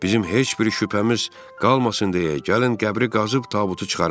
Bizim heç bir şübhəmiz qalmasın deyə gəlin qəbri qazıb tabutu çıxaraq.